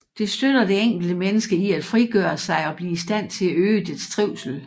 Det støtter det enkelte menneske i at frigøre sig og blive i stand til at øge dets trivsel